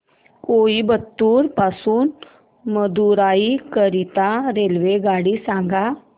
कोइंबतूर पासून मदुराई करीता रेल्वेगाडी सांगा